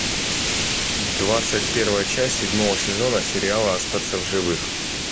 двадцать первая часть седьмого сезона сериала остаться в живых